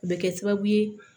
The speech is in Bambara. O bɛ kɛ sababu ye